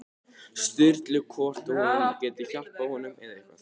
Sturlu hvort hún geti hjálpað honum með eitthvað.